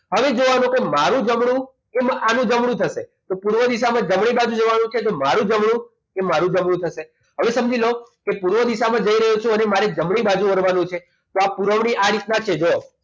હવે જોવાનું કે મારું જમણું અને આનું જમણું થશે પૂર્વ દિશામાં જમણી બાજુ જવાનું કે મારું જમણું એ મારું જમણું થશે હવે સમજી લો કે મારી પૂર્વ દિશામાં જઈ રહ્યો છું અને મારી જમણી બાજુ વળવાનું છે જો પુરવણી આ દિશામાં છે જો